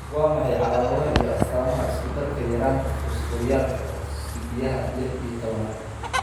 Waa maxay calaamadaha iyo astaamaha isku-darka yaraanta fosforyaalka oksaydhiyaha lix iyo tobanad?